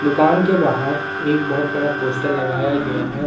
दुकान के बाहर एक बहोत बड़ा पोस्टर लगाया गया है।